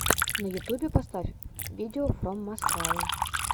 на ютюбе поставь видеофроммаскау